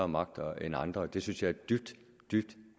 magter end andre det synes jeg er dybt dybt